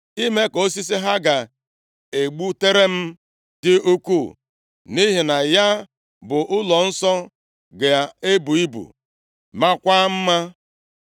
ime ka osisi ha ga-egbutere m dị ukwuu, nʼihi na ya bụ ụlọnsọ ga-ebu ibu, maakwa mma.